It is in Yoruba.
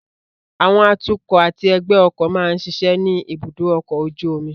Àwọn atukọ̀ àti ẹgbẹ́ ọkọ̀ máa ń ṣiṣẹ́ ní ibùdó ọkọ̀ ojú omi